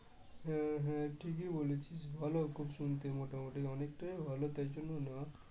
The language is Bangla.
হ্যাঁ হ্যাঁ ঠিকই বলেছিস ভালো খুব শুনতে মোটামোটি অনেকটাই ভালো